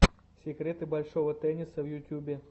секреты большого тенниса в ютюбе